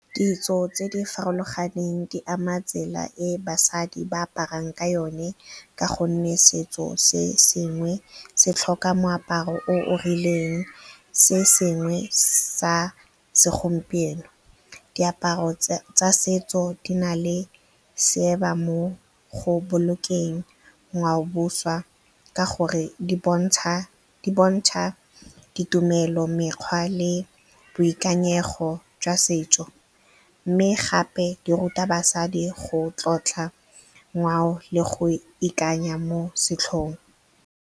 Ditso tse di farologaneng di ama tsela e basadi ba aparang ka yone ka gonne setso se sengwe se tlhoka moaparo o rileng, se sengwe sa segompieno. Diaparo tsa setso di na le seaba mo go bolokeng ngwaoboswa ka gonne di bontsha ditumelo, mekgwa le boikanyego jwa setso. Mme gape di ruta basadi go tlotla ngwao le go ikanya mo setlhong.